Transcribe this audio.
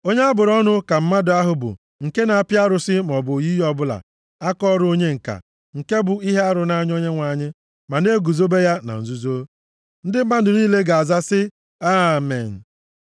“Onye a bụrụ ọnụ ka mmadụ ahụ bụ nke na-apị arụsị maọbụ oyiyi ọbụla, akaọrụ onye ǹka, nke bụ ihe arụ nʼanya Onyenwe anyị, ma na-eguzobe ya na nzuzo.” Ndị mmadụ niile ga-aza sị, “Amen.”